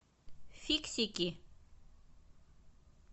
фиксики